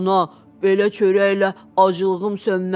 Ana, belə çörəklə acılığım sönməz.